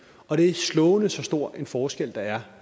og det er slående så stor en forskel der er